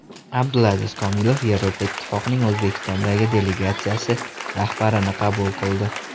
Abdulaziz Komilov Yevropa Ittifoqining O‘zbekistondagi delegatsiyasi rahbarini qabul qildi.